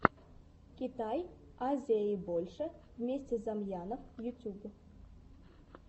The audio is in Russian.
китай азия и больше вместе с замьянов ютьюб